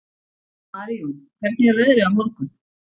Marijón, hvernig er veðrið á morgun?